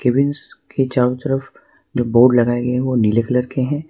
Cabins के चारों तरफ जो बोर्ड लगाए गए हैं वे नीले कलर के हैं।